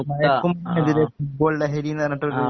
മയക്കുമരുന്നിനെതിരെ football ലഹരീന്ന് പറഞ്ഞിട്ടൊര്